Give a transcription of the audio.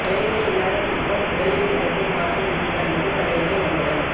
தலையணை இல்லாத தூக்கம் உடலில் நிகழ்த்தும் மாற்றம் இதுதான் நிஜ தலையணை மந்திரம்